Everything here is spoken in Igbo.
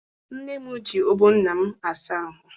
Nne m ji ọgbọ nna m asa ahụ.